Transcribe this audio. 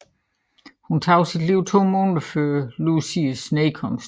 Hun tog sit liv to måneder før Lucies nedkomst